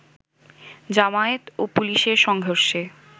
জামায়াত ও পুলিশের সংঘর্ষে